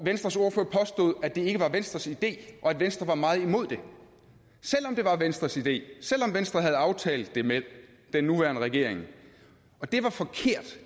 venstres ordfører påstod at det ikke var venstres idé og at venstre var meget imod det selv om det var venstres idé selv om venstre havde aftalt det med den nuværende regering det var forkert